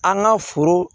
An ka foro